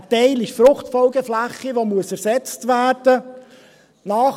Ein Teil ist Fruchtfolgefläche, die ersetzt werden muss.